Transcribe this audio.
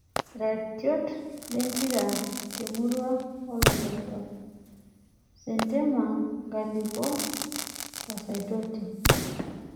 Iratiot lempira temurua oo loitoktoktok; sentema, Nkalipo o Saitoti.